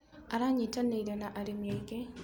Aranyitanĩire na arĩmi angĩ.